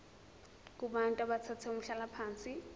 kubantu abathathe umhlalaphansi